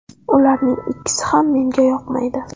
Ularning ikkisi ham menga yoqmaydi.